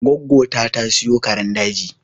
Gwaggo ta, ta siyo karen daji